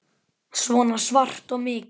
Svona svart og mikið.